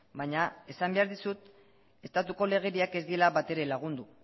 baina esan behar dizut estatuko legediak ez diela batere lagundu